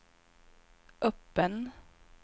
öppen